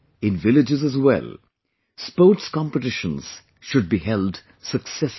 In villages as well, sports competitions should be held successively